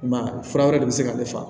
I m'a ye fura wɛrɛ de bɛ se ka ne fa